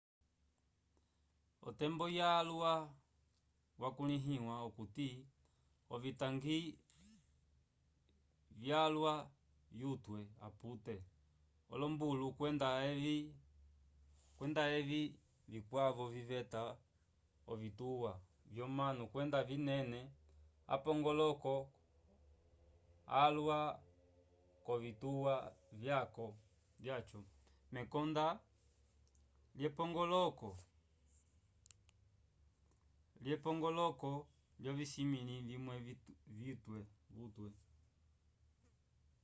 otembo yalwa yakulĩhiwa okuti ovitangi vyalwa vyutwe apute olombulu kwenda avey vikwavo viveta ovituwa vyomanu kwenda vinene apongoloko alwa k'ovituwa vyaco mekonda lyepongoloko lyovisimĩlo vimwe vutwe